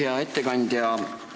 Hea ettekandja!